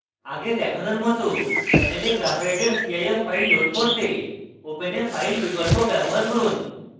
আগে দেখানোর মত panel graphite cif file load করতে open a file বিকল্প ব্যবহার করুন